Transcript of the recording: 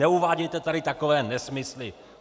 Neuvádějte tady takové nesmysly!